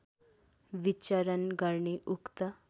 विचरण गर्ने उक्त